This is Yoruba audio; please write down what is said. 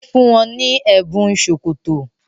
O fún wón ní Ẹbùn sókótó.